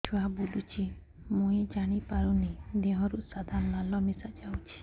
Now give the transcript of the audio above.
ଛୁଆ ବୁଲୁଚି ମୁଇ ଜାଣିପାରୁନି ଦେହରୁ ସାଧା ଲାଳ ମିଶା ଯାଉଚି